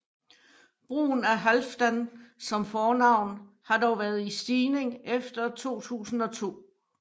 Brugen af Halfdan som fornavn har dog været i stigning efter 2002